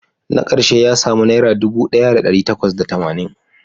Na karshe ya samu naira dubu daya da dari takwas da tamanin